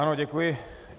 Ano, děkuji.